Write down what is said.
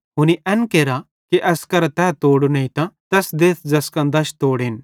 हुनी एन केरा कि एस करां तै तोड़ो नेइतां तैस देथ ज़ैसका दश तोड़ेन